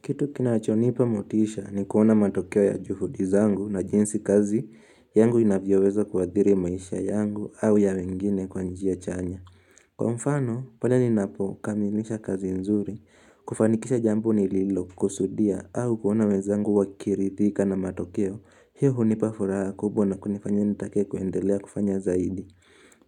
Kitu kinachonipa motisha ni kuona matokeo ya juhudizangu na jinsi kazi yangu inavyoweza kuadhiri maisha yangu au ya wengine kwa njia chanya. Kwa mfano, pale ninapo kamilisha kazi nzuri, kufanikisha jambo nililokukusudia au kuona wezangu wakirithika na matokeo, hiyo hunipa furaha kubwa na kunifanya nitake kuendelea kufanya zaidi.